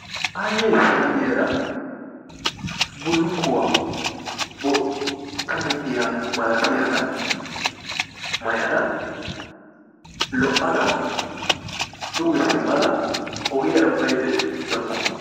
Aaye issiniyaa diyaara bulukkuwaa bootta muqiyaa malattiyagga mayadda lo"adda dugge simadda ogiyaara baydda dawussu.